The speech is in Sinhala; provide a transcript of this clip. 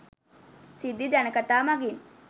සිද්ධි ජනකතා මඟින්